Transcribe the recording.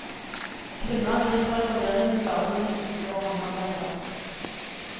Kvinner griper i forvirringen bare noen duker og håndarbeider.